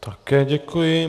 Také děkuji.